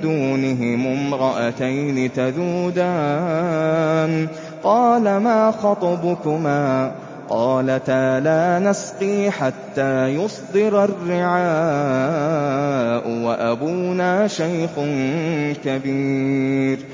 دُونِهِمُ امْرَأَتَيْنِ تَذُودَانِ ۖ قَالَ مَا خَطْبُكُمَا ۖ قَالَتَا لَا نَسْقِي حَتَّىٰ يُصْدِرَ الرِّعَاءُ ۖ وَأَبُونَا شَيْخٌ كَبِيرٌ